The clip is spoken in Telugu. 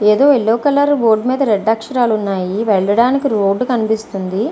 ఎదో యెల్లో కలర్ బోర్డు మిద రెడ్ అక్షరాలు ఉన్నాయ్. వెళ్ళడానికి రోడ్ కనిపిస్తుంది.